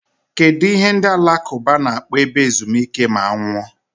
Kedụ ihe ndị alakụba na-akpọ ebe ezumike ma a nwụọ?